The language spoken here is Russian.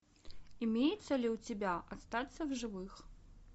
имеется ли у тебя остаться в живых